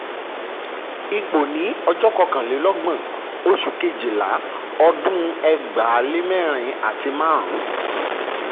ipò um ní ọjọ́ um kọkànlélọ́gbọ̀n oṣù kejìlá um ọdún ẹgbàá lé mẹ́rin àti márùn-ún.